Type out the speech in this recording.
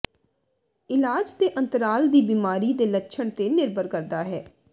ਇਲਾਜ ਦੇ ਅੰਤਰਾਲ ਦੀ ਬਿਮਾਰੀ ਦੇ ਲੱਛਣ ਤੇ ਨਿਰਭਰ ਕਰਦਾ ਹੈ